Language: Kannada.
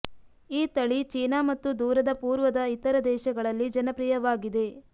ಈ ತಳಿ ಚೀನಾ ಮತ್ತು ದೂರದ ಪೂರ್ವದ ಇತರ ದೇಶಗಳಲ್ಲಿ ಜನಪ್ರಿಯವಾಗಿದೆ